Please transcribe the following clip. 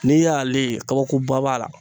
N'i y'ale ye kabakoba b'a la